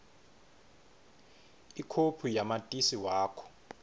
ikhophi yamatisi wakho